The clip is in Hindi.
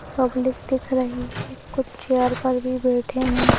पब्लिक दिख रही है कुछ चेयर पर भी बैठे हैं।